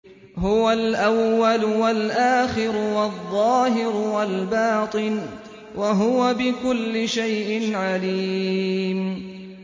هُوَ الْأَوَّلُ وَالْآخِرُ وَالظَّاهِرُ وَالْبَاطِنُ ۖ وَهُوَ بِكُلِّ شَيْءٍ عَلِيمٌ